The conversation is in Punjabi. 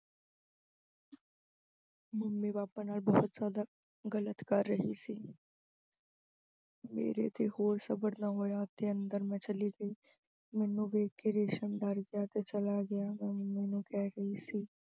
mummy papa ਨਾਲ ਬਹੁਤ ਜਿਆਦਾ ਗਲਤ ਕਰ ਰਹੀ ਸੀ ਮੇਰੇ ਤੋਂ ਹੋਰ ਸਬਰ ਨਾ ਹੋਇਆ ਤੇ ਮੈਂ ਅੰਦਰ ਚਲੀ ਗਈ, ਮੈਨੂੰ ਦੇਖ ਕੇ ਰੇਸ਼ਮ ਡਰ ਗਿਆ ਤੇ ਚਲਾ ਗਿਆ। ਮੈਂ mummy ਨੂੰ ਕਹਿ ਰਹੀ ਸੀ